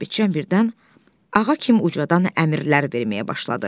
Sabitçan birdən ağa kimi ucadan əmrlər verməyə başladı.